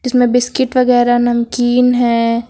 जिसमें बिस्किट वगैरह नमकीन है।